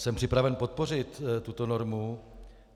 Jsem připraven podpořit tuto normu.